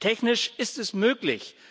Technisch ist es möglich.